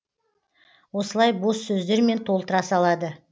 осылай бос сөздермен толтыра салады